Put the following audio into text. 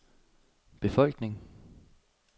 befolkning